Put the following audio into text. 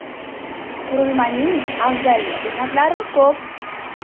Qurilmaning afzallik jihatlari ko‘p.